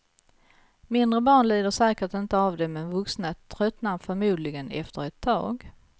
Mindre barn lider säkert inte av det men vuxna tröttnar förmodligen efter ett tag.